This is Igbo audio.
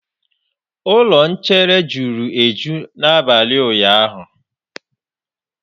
Ụlọ nchere juru eju n'abalị ụnyaahụ.